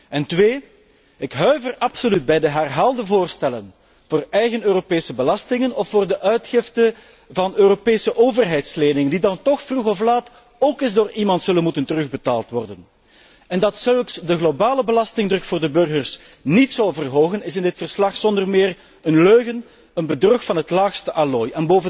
Ten tweede huiver ik absoluut bij de herhaalde voorstellen voor eigen Europese belastingen of voor de uitgifte van Europese overheidsleningen, die dan toch vroeg of laat ook eens door iemand zullen moeten worden terugbetaald. En dat zoiets de globale belastingsdruk voor de burgers niet zou verhogen, is in dit verslag zonder meer een leugen, een bedrog van het laagste allooi.